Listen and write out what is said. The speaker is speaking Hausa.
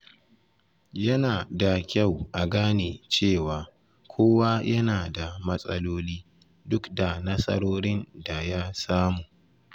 Yana da kyau a gane cewa kowa yana da matsaloli, duk da nasarorin da ya samu.